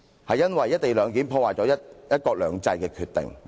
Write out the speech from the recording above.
是因為"一地兩檢"破壞了"一國兩制"的決定......